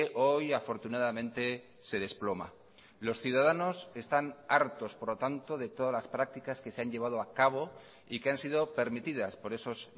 hoy afortunadamente se desploma los ciudadanos están hartos por lo tanto de todas las prácticas que se han llevado a cabo y que han sido permitidas por esos